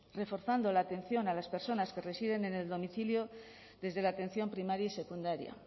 reforzando la atención a las personas que residen en el domicilio desde la atención primaria y secundaria